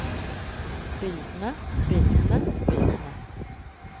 bildene bildene bildene